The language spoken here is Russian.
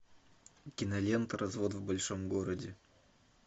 кинолента развод в большом городе